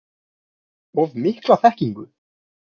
Of mikla þekkingu?